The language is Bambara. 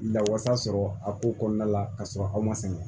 Lawasa sɔrɔ a ko kɔnɔna la ka sɔrɔ aw ma sɛgɛn